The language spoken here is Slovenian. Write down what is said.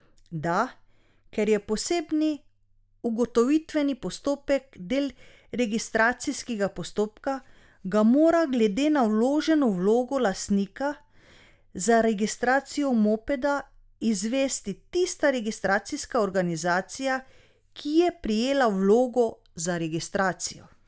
Da, ker je posebni ugotovitveni postopek del registracijskega postopka, ga mora glede na vloženo vlogo lastnika za registracijo mopeda izvesti tista registracijska organizacija, ki je prejela vlogo za registracijo.